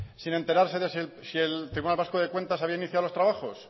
sin enterarse de si el tribunal vasco de cuentas había iniciado los trabajos